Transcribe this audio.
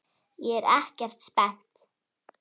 ÉG ER EKKERT SPENNT!